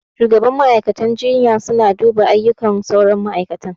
Shugaban ma'aikatan jinya suna duba aiyukan sauran ma'aikatan